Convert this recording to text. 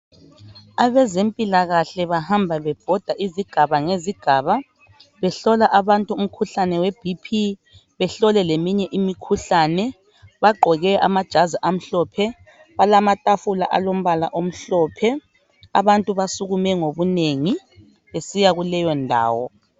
Abezempilakahle bahamba bebhoda izigaba ngezigaba behlola abantu umkhuhlane weBP. Behlole leminye imikhuhlane. Bagqoke amajazi amhlophe. Balamatafula alombala omhlophe. Abantu basukume ngobunengi besiya kuleyo ndawo.